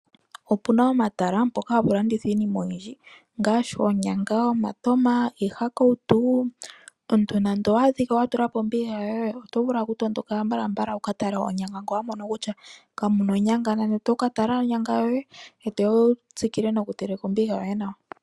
Opuna omatala mpoka hapu landithwa iinima oyindji ngaashi: oonyanga, omatama niihakawutu. Omuntu nando owaa dhika watulapo ombiga yoye, oto vulu oku tondoka mbalambala wukatale onyanga ngele owamono kutya kamuna onyanga, nani oto katala owala onyanga yoye ngoye toya wutsikile nombiga yoye nawa.